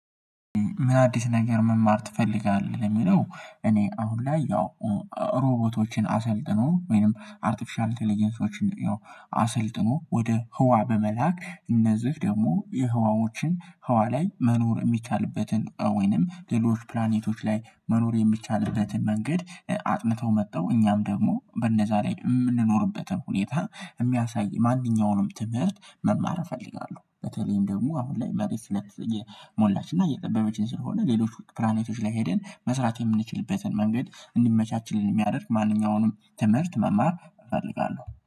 ምን አዲስ ነገር መማር ትፈልጋለህ? ለሚለው እኔ አሁን ላይ ያው ሮቦቶችን አሰልጥኖ ወይንም አርቲፊሻል ቴሌጀንሶችን ያው አሰልጥኖ ወደ ህዋ በመላክ እነዚህ ደግሞ የህዋዎችን ህዋ ላይ መኖር ሚቻልበትን ወይንም ሌሎች ፕላኔቶች ላይ መኖር የሚቻልበትን መንገድ አጥንተው መጥተው እኛም ደግሞ በእነዛ ላይ እምንኖርበትን ሁኔታ የሚያሳይ ማንኛውንም ትምህርት መማር እፈልጋለሁ። በተለይም ደግሞ አሁን ላይ መሬት ስለ እየሞላች እና እየጠበበችን ስለሆነ ሌሎች ፕላኔቶች ላይ ሄደን መስራት የምንችልበትን መንገድ እንዲመቻችልን ሚያደርግ ማንኛውንም ትምህርት መማር እፈልጋለሁ